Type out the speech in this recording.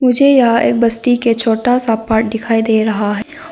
मुझे यह एक बस्ती के छोटा सा पाठ दिखाई दे रहा है।